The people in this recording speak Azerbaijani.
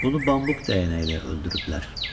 Bunu bambuk dəyənəyi ilə öldürüblər.